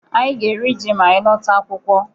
Anyị ga-eri ji ma anyị lọta akwụkwọ.